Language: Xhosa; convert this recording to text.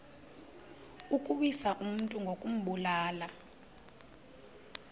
ukuwisa umntu ngokumbulala